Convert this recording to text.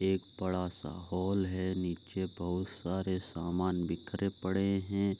एक बड़ा सा हॉल है नीचे बहुत सारे सामान बिखरे पड़े है।